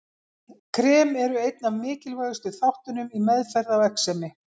Krem eru einn af mikilvægustu þáttunum í meðferð á exemi.